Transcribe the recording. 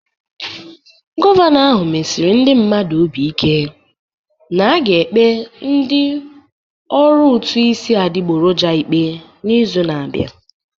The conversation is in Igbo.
Gọvanọ ahụ mesiri ndị mmadụ obi ike na a ga-ekpe ndị ọrụ ụtụ isi adịgboroja ikpe n'izu na-abịa